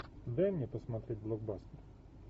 дай мне посмотреть блокбастер